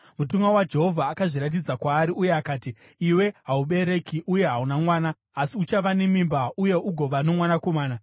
Mutumwa waJehovha akazviratidza kwaari uye akati, “Iwe haubereki uye hauna mwana, asi uchava nemimba uye ugova nomwanakomana.